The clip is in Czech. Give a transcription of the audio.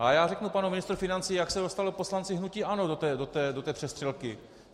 A já řeknu panu ministru financí, jak se dostali poslanci hnutí ANO do té přestřelky.